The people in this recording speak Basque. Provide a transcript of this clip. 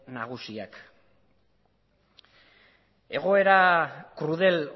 nagusiak egoera krudel